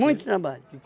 trabalho.